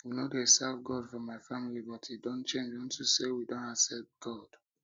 we no dey serve god for my family but e don change unto say we don accept god